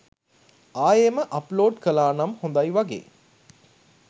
ආයෙම upload කලානම් හොදයි වගේ.